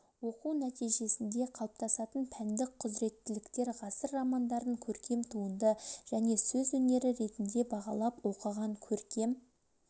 оқу нәтижесінде қалыптасатын пәндік құзыреттіліктер ғасыр романдарын көркем туынды және сөз өнері ретінде бағалап оқыған көркем